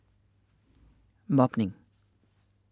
Mobning